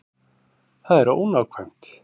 Það er ónákvæmt.